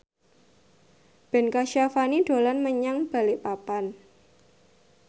Ben Kasyafani dolan menyang Balikpapan